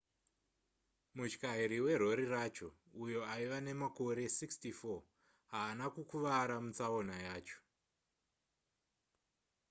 mutyairi werori racho uyo aiva nemakore 64 haana kukuvara mutsaona yacho